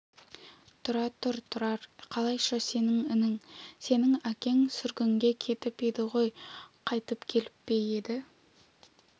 тұра тұр тұрар қалайша сенің інің сенің әкең сүргінге кетіп еді ғой қайтып келіп пе еді